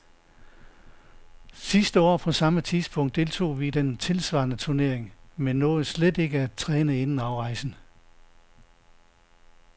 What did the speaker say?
Sidste år på samme tidspunkt deltog vi i den tilsvarende turnering, men nåede slet ikke at træne inden afrejsen.